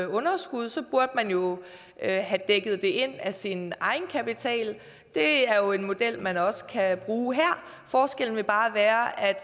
underskud burde man jo have dækket det ind via sin egenkapital det er jo en model man også kan bruge her forskellen vil bare være at